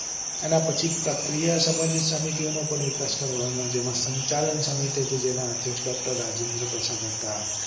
અને એના પછી પ્રક્રિયા સંબંધિત ની સમિતિઓ નો પણ વિકાસ કરવામાં આવ્યો હતો જેમાં સંચાલન જે સમિતિ હતી જેના અધ્યક્ષ ડો. રાજેન્દ્ર પ્રસાદ હતા